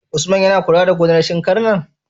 Usman yAna kula da gonar shinkar nan?